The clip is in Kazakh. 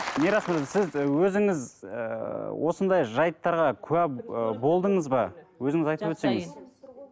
мирас мырза сіз өзіңіз ыыы осындай жайттарға куә ы болдыңыз ба өзіңіз айтып өтсеңіз